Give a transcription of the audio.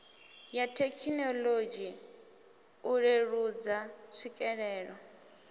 ya thekinolodzhi u leludza tswikelelo